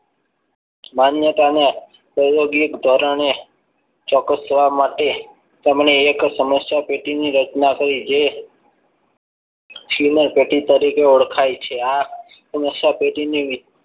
માન્યતા ને પ્રાયોગિક ધોરણે ચોક્કસ થવા માટે તમને એક સમસ્યા પેટે ની રચના થ જે તરીકે ઓળખાય છે. આ